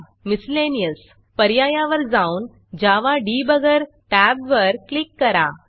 Miscellaneousमिसलेनीयस पर्यायावर जाऊन जावा Debuggerजावा डिबगर टॅबवर क्लिक करा